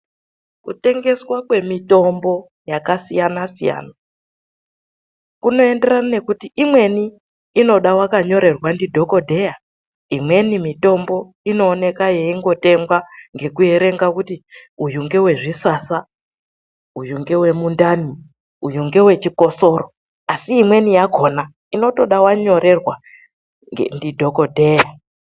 Kutengeswa kwemitombo yakasiyana-siyana kunoenderana nekuti imweni inoda wakanyorerwa ndidhokodheya. Imweni mitombo inoonekwa yeingotengwa ngekuerenga kuti uyu ngewezvisasa, uyu ngewemundani, uyu ngewechikosoro, asi imweni yakona inotoda wanyorerwa ndidhokodheya.